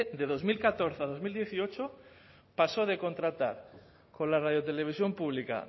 de dos mil catorce a dos mil dieciocho pasó de contratar con la radio televisión pública